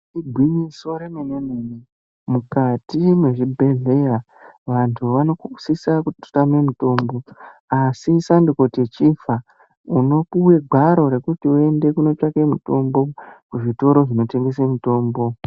Igwinyiso remene mene mukati mwezvibhedhleya vantu vanosisa kutama mutombo. Asi sandikuti chifa unopuve gwaro rekuti uende kutsvake mitombo kuzvitoro zvinotengese mitombo.